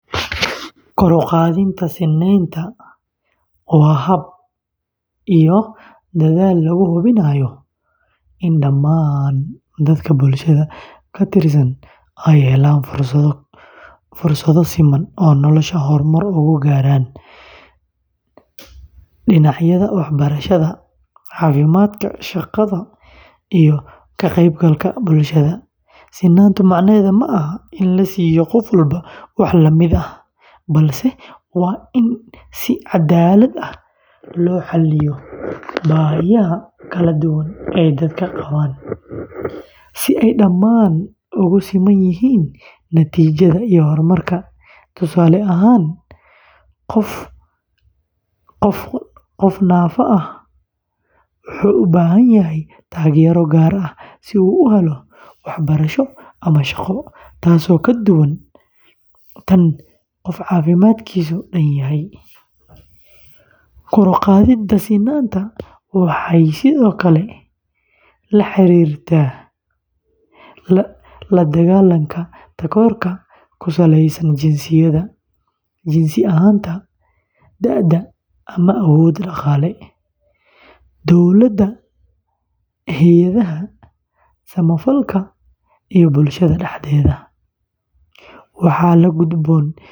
Kor u qaadidda sinnaanta waa hab iyo dadaal lagu hubinayo in dhammaan dadka bulshada ka tirsan ay helaan fursado siman oo noloshooda horumar uga gaaraan dhinacyada waxbarashada, caafimaadka, shaqada, iyo ka qaybgalka bulshada. Sinnaantu micnaheedu ma aha in la siiyo qof walba wax la mid ah, balse waa in si cadaalad ah loo xalliyo baahiyaha kala duwan ee dadku qabaan, si ay dhammaan ugu siman yihiin natiijada iyo horumarka. Tusaale ahaan, qof naafada ah wuxuu u baahan yahay taageero gaar ah si uu u helo waxbarasho ama shaqo, taasoo ka duwan tan qof caafimaadkiisu dhan yahay. Kor u qaadidda sinnaanta waxay sidoo kale la xiriirtaa la dagaalanka takoorka ku saleysan jinsiyadda, jinsi ahaanta, da’da, ama awood dhaqaale. Dowladaha, hay’adaha samafalka, iyo bulshada dhexdeeda, waxaa la gudboon.